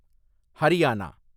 Haryana